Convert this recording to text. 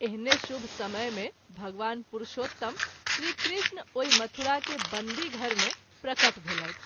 एहने शुभ समय मे भगवान पुरुषोत्तम श्री कृष्ण ओहि मथुरा के बंदी घर मे प्रकट भेलैथ।